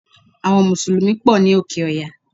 Àwon mùsùlùmí pò ní òkè oya